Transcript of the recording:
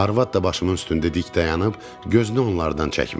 Arvad da başımın üstündə dik dayanıb, gözünü onlardan çəkmirdi.